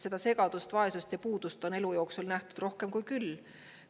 Seda segadust, vaesust ja puudust on elu jooksul nähtud rohkem kui küll.